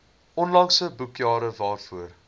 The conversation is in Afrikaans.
onlangse boekjare waarvoor